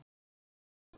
Það hljómar svo